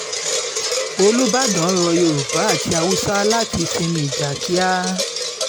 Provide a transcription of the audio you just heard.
olùbàdàn rọ yorùbá àti haúsá láti sinmi ìjà kíá